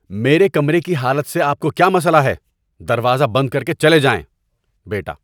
میرے کمرے کی حالت سے آپ کو کیا مسئلہ ہے؟ دروازہ بند کر کے چلے جائیں۔ (بیٹا)